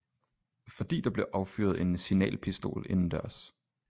Fordi der blev affyret en signalpistol indendørs